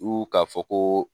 k'a fɔ ko